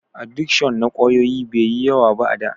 Adikshon na ƙwayoyi bai yi yawa ba a da.